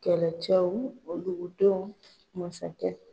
Kɛlɛcɛw o lugu don masakɛ.